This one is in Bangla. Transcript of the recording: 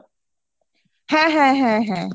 হ্যাঁ হ্যাঁ হ্যাঁ হ্যাঁ